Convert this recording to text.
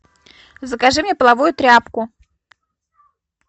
закажи мне половую тряпку